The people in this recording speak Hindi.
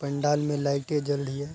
पंडाल में लाइटें जल रही हैं।